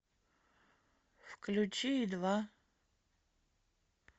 включи и два